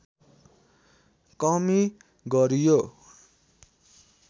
कमी गरियो